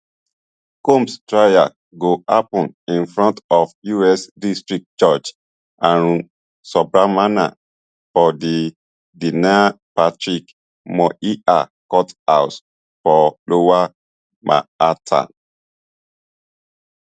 combs trial go happun in front of us district judge arun subramanian for di patrick moynihan courthouse for lower manhattan